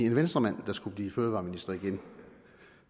en venstremand der skulle blive fødevareminister igen